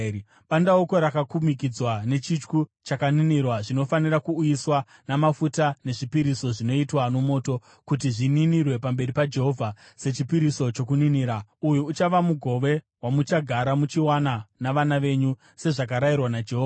Bandauko rakakumikidzwa nechityu chakaninirwa zvinofanirwa kuuyiswa namafuta nezvipiriso zvinoitwa nomoto, kuti zvininirwe pamberi paJehovha sechipiriso chokuninira. Uyu uchava mugove wamuchagara muchiwana navana venyu sezvakarayirwa naJehovha.”